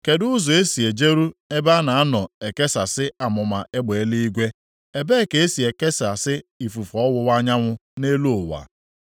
Kedụ ụzọ e si ejeru ebe a na-anọ ekesasị amụma egbe eluigwe, ebee ka e si ekesasị ifufe ọwụwa anyanwụ nʼelu ụwa?